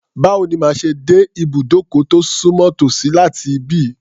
Báwo ni màá ṣe dé ìbùdókọ̀ tó sùnmọ́ tòsí láti ibí?